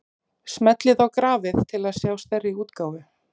Smellið á grafið til að sjá stærri útgáfu.